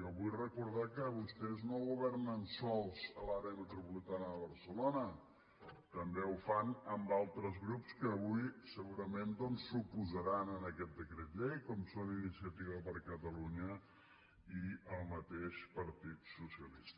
jo vull recordar que vostès no governen sols a l’àrea metropolitana de barcelona també ho fan amb altres grups que avui segurament s’oposaran a aquest decret llei com són iniciativa per catalunya i el mateix partit socialista